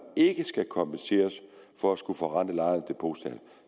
ikke skal kompenseres for at skulle forrente lejerens depositum